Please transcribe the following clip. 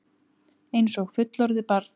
Einsog fullorðið barn.